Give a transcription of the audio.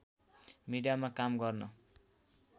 मिडियामा काम गर्न